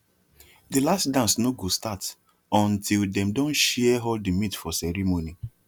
the last dance no go start until dem don share all the meat for ceremony